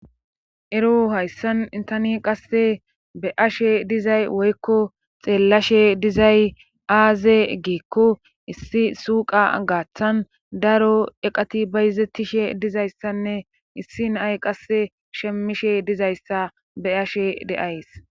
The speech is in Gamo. Ero hayssan intani qasse be ashe dizay woykko xeellashe dizay aaze giekko issi suqa gaaththan daro eqati bayizettishe dizayssanne issi nay qasse shemmishe dizayssa be ashe deays.